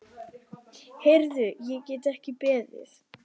Heyrðu, ég get ekki beðið.